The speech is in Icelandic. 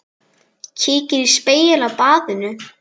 Kíkir í spegil á baðinu.